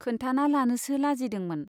खोन्थाना लानोसो लाजिदोंमोन।